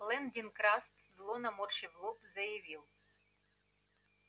лэн дин краст зло наморщив лоб заявил